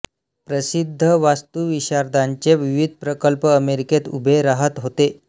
प्रसिद्ध वास्तुविशारदांचे विविध प्रकल्प अमेरिकेत उभे राहत होते